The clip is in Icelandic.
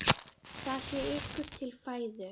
Það sé ykkur til fæðu.